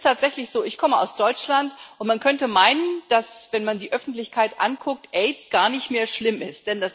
Es ist tatsächlich so Ich komme aus Deutschland, und man könnte meinen, dass wenn man die Öffentlichkeit anguckt Aids gar nicht mehr schlimm ist.